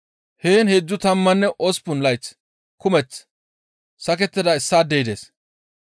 Heen heedzdzu tammanne osppun layth kumeth sakettida issaadey dees.